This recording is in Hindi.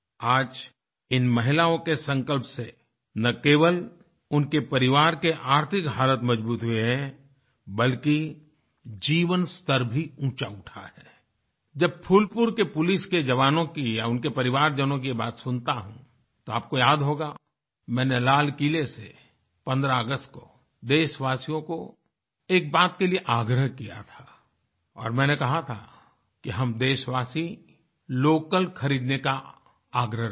आज इन महिलाओं के संकल्प से न केवल उनके परिवार के आर्थिक हालत मजबूत हुए हैं बल्कि जीवन स्तर भी ऊँचा उठा है आई जब फूलपुर के पुलिस के जवानों की या उनके परिवारजनों की बातें सुनता हूँ तो आपको याद होगा कि मैंने लाल किले से 15 अगस्त को देशवासियों को एक बात के लिए आग्रह किया था और मैंने कहा था कि हम देशवासी लोकल खरीदने का आग्रह रखें